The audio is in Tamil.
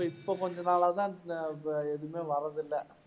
இப்ப கொஞ்ச நாளா தான் எதுவுமே வரதுல்ல.